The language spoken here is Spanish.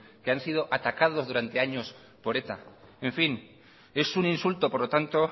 que han sido atacados durante años por eta en fin es un insulto por lo tanto